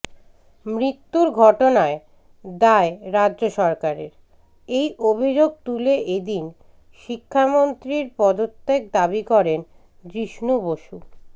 মৃত্যুর ঘটনায় দায় রাজ্য সরকারের এই অভিযোগ তুলে এদিন শিক্ষামন্ত্রীর পদত্যাগ দাবি করেন জিষ্ণু বসু